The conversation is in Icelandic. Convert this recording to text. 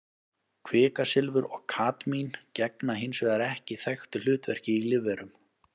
Kvikasilfur og kadmín gegna hins vegar ekki þekktu hlutverki í lífverum.